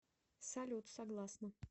салют согласна